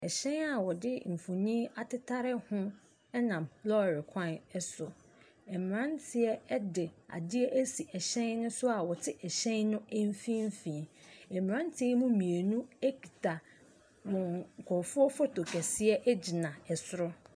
Hyɛn a wɔde mfonin atetare ho nenam kwan so, mmeranteɛ de adeɛ asi hyɛn ne so a wɔte hyɛn no mfimfin. Mmeranteɛ ne mu mmienu kita wɔn nkurɔfoɔ photo kɛseɛ gyina soro.